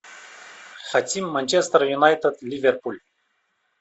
хотим манчестер юнайтед ливерпуль